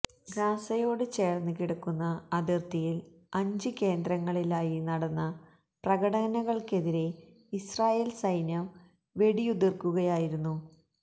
ഗസയോട് ചേര്ന്ന് കിടക്കുന്ന അതിര്ത്തിയില് അഞ്ച് കേന്ദ്രങ്ങളിലായി നടന്ന പ്രകടനങ്ങള്ക്കെതിരേ ഇസ്രായേല് സൈന്യം വെടിയുതിര്ക്കുകയായിരുന്നു